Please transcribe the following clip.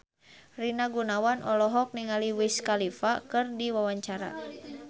Rina Gunawan olohok ningali Wiz Khalifa keur diwawancara